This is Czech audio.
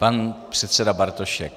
Pan předseda Bartošek.